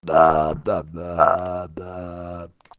да-да-да